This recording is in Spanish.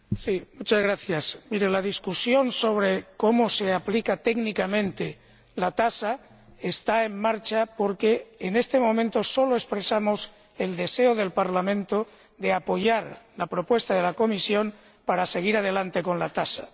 Señora Swinburne, la discusión sobre cómo se aplica técnicamente la tasa está en marcha porque, en este momento, solo expresamos el deseo del Parlamento de apoyar la propuesta de la Comisión para seguir adelante con la tasa.